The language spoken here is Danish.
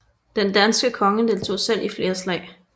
Den danske konge deltog selv i flere slag